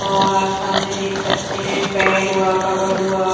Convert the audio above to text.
और आप सामने देख सकते हैं बेड हुआ कबर्ड हुआ--